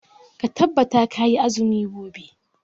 Ka tabbata kayi azumi gobe.